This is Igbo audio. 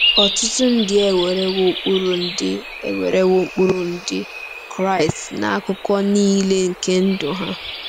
Ọtụtụ ndị ewerewo ụkpụrụ Ndị ewerewo ụkpụrụ Ndị Kraịst n'akụkụ nile nke ndụ ha.